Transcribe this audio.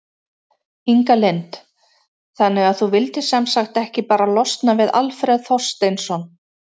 Inga Lind: Þannig að þú vildir sem sagt ekki bara losna við Alfreð Þorsteinsson?